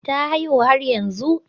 Ta haihu har yanzu